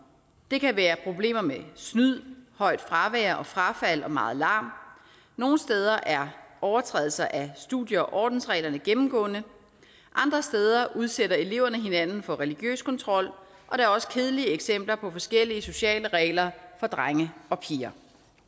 det kan være problemer med snyd højt fravær frafald og meget larm nogle steder er overtrædelser af studie og ordensreglerne gennemgående andre steder udsætter eleverne hinanden for religiøs kontrol og der er også kedelige eksempler på forskellige sociale regler for drenge og piger